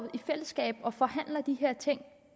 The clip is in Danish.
i fællesskab og forhandler de her ting